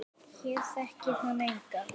Hér þekkir hann engan.